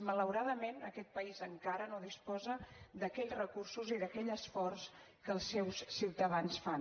malauradament aquest país encara no disposa d’aquells recursos i d’aquell esforç que els seus ciutadans fan